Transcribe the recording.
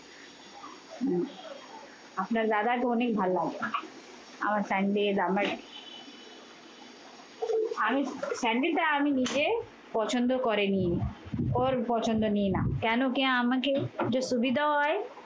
আপনার দাদাকে অনেক ভাল্লাগে। আমার স্যান্ডেল আমার আমি স্যান্ডেলটা আমি নিজে পছন্দ করে নিই। ওর পছন্দে নিই না। কেন কি আমাকে যে সুবিধা হয়